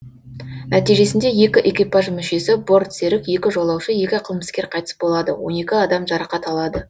нәтижесінде екі экипаж мүшесі бортсерік екі жолаушы екі қылмыскер қайтыс болады он екі адам жарақат алады